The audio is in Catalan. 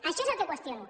això és el que qüestiono